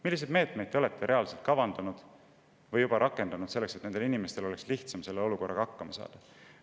Milliseid meetmeid te olete kavandanud või juba rakendanud selleks, et nendel inimestel oleks sellises olukorras lihtsam hakkama saada?